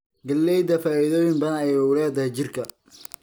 Galleyda faa'iidooyin badan ayay u leedahay jirka